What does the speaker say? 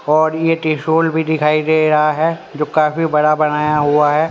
और ये त्रिशूल भी दिखाई दे रहा है जो काफी बड़ा बनाया हुआ है।